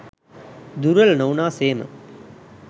දුර්වල නොවුනා සේම